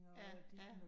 Ja ja